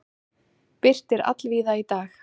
Birtir allvíða í dag